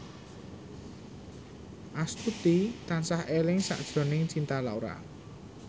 Astuti tansah eling sakjroning Cinta Laura